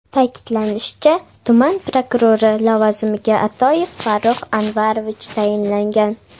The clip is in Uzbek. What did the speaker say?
Ta’kidlanishicha, tuman prokurori lavozimiga Atoyev Farruh Anvarovich tayinlangan.